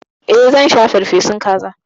E, zan sha farfesun kaza.